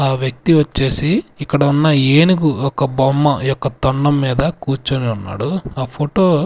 ఆ వ్యక్తి వచ్చేసి ఇక్కడ ఉన్న ఏనుగు ఒక బొమ్మ యొక్క తొండం మీద కూర్చొని ఉన్నాడు ఆ ఫోటో .